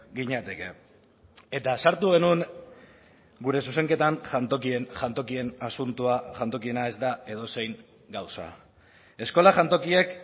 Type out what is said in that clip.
ginateke eta sartu genuen gure zuzenketan jantokien asuntoa jantokiena ez da edozein gauza eskola jantokiek